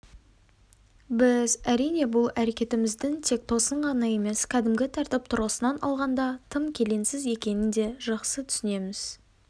біз әрине бұл әрекетіміздің тек тосын ғана емес кәдімгі тәртіп тұрғысынан алғанда тым келеңсіз екенін де жақсы түсінеміз